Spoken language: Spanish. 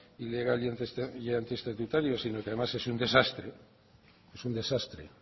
ilegal y antiestatutario sino que además es un desastre es un desastre el